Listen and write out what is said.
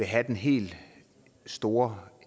have den helt store